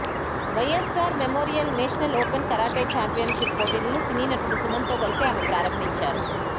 YSR memorial national open karate championship పోటీలను సినీనటుడు సుమన్ తో కలిసి ఆమె ప్రారంభించారు